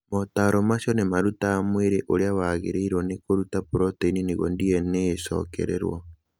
Motaaro macio nĩ marutaga mwĩrĩ ũrĩa wagĩrĩirũo nĩ kũruta proteini nĩguo DNA ĩcokererũo.